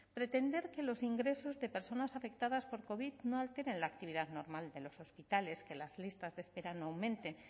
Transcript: pretender que los ingresos de personas afectadas por covid no alteren la actividad normal de los hospitales que las listas de espera no aumenten